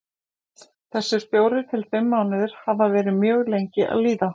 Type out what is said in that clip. Þessir fjórir til fimm mánuðir hafa verið mjög lengi að líða.